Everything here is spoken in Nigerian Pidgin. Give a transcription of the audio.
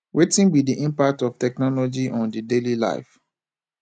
wetin be di impact of technology on di daily life